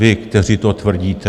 Vy, kteří to tvrdíte.